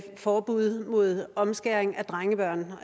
forbud mod omskæring af drengebørn